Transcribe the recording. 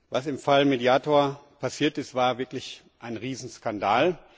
Was im Fall Mediator passiert ist, war wirklich ein Riesenskandal.